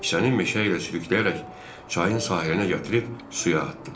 Kisəni meşə ilə sürükləyərək çayın sahilinə gətirib suya atdım.